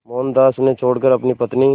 मोहनदास उन्हें छोड़कर अपनी पत्नी